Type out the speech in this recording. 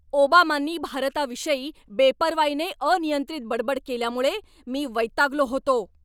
ओबामांनी भारताविषयी बेपर्वाईने अनियंत्रित बडबड केल्यामुळे मी वैतागलो होतो.